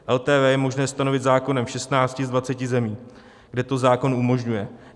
LTV je možné stanovit zákonem v 16 z 20 zemí, kde to zákon umožňuje.